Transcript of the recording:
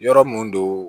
Yɔrɔ mun don